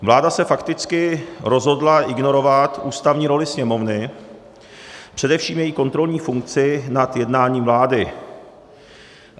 Vláda se fakticky rozhodla ignorovat ústavní roli Sněmovny, především její kontrolní funkci nad jednáním vlády.